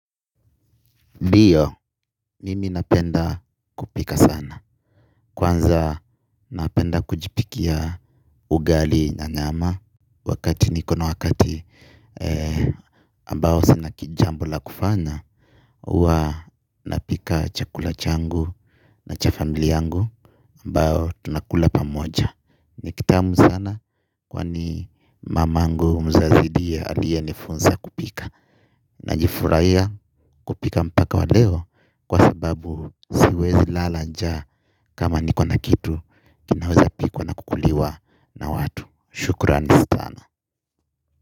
Ndiyo, mimi napenda kupika sana. Kwanza napenda kujipikia ugali na nyama wakati niko na wakati ambao sina kijambo la kufanya, huwa napika chakula changu na cha familia yangu ambao tunakula pamoja. Ni kitamu sana kwani mamangu mzazi ndiye aliyenifunza kupika. Najifurahia kupika mpaka wa leo kwa sababu siwezi lala njaa kama niko na kitu kinaweza pikwa na kukuliwa na watu. Shukran stana.